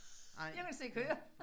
Jeg kunne slet ikke høre